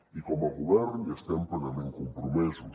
i com a govern hi estem plenament compromesos